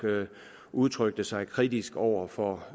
udtrykte sig kritisk over for